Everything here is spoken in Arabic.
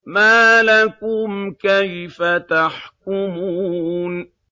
مَا لَكُمْ كَيْفَ تَحْكُمُونَ